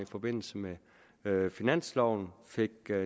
forbindelse med med finansloven fik